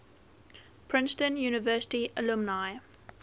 princeton university alumni